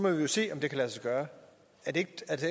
jo se om det kan lade sig gøre er det